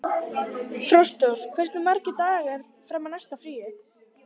Frostrós, hversu margir dagar fram að næsta fríi?